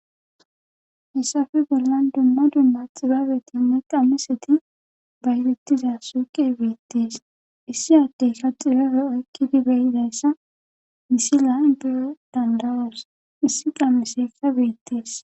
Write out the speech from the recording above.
hessafe bollan dumma dumma xibaabetinne qamiseti baylettiza suuqe beittees issi addey kaxifefe okkidi beyidayssa misilan beyo dandawas issi qamesesa beettees